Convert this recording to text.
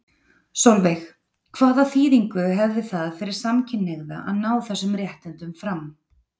Sólveig: Hvaða þýðingu hefði það fyrir samkynhneigða að ná þessum réttindum fram?